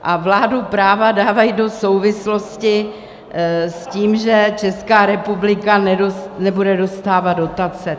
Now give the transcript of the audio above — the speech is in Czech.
A vládu práva dávají do souvislosti s tím, že Česká republika nebude dostávat dotace.